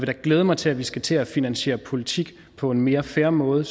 da glæde mig til at vi skal til at finansiere politik på en mere fair måde